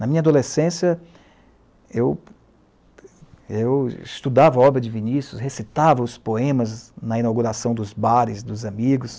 Na minha adolescência, eu estudava a obra de Vinícius, recitava os poemas na inauguração dos bares dos amigos,